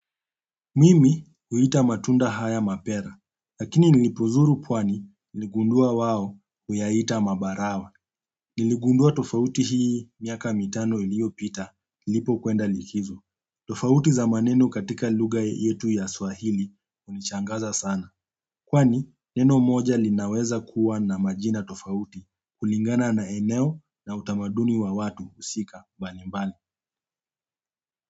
Mimi huita matunda haya mapera, lakini nilipozuru pwani niligundua wao huyaita mabarawa. Niligundua tofauti hii miaka mitano iliyopita, nilipo kwenda likizo. Tofauti za maneno katika lugha yetu ya swahili hunishangaza sana. Kwani neno moja linaweza kuwa na majina tofauti kulingana na eneo na utamaduni wa watu husika mbalimbali.